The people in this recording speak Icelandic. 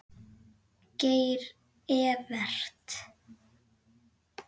Geir Evert.